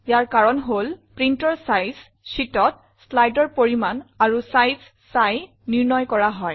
ইয়াৰ কাৰণ হল printৰ sizesheetত slideৰ পৰিমান আৰু চাইজ চাই নিৰ্ণয় কৰা হয়